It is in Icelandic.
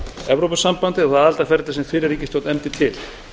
evrópusambandið og það aðildarferli sem fyrri ríkisstjórn efndi til